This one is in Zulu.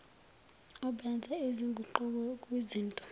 obenza izinguquko kwizinto